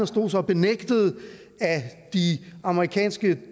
stod så og benægtede at de amerikanske